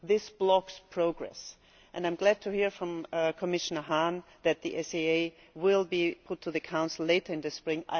This blocks progress, and I am glad to hear from Commissioner Hahn that the SAA will be put to the Council later in the spring